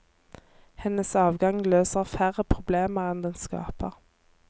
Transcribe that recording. Hennes avgang løser færre problemer enn den skaper.